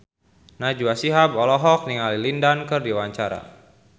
Najwa Shihab olohok ningali Lin Dan keur diwawancara